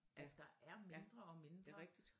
Ja ja det rigtigt